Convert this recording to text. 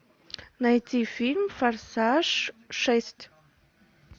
найти фильм форсаж шесть